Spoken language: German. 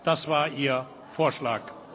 Das war Ihr Vorschlag.